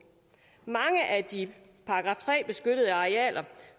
mange af de § tre beskyttede arealer